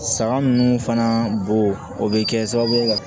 Saga ninnu fana bon o bɛ kɛ sababu ye ka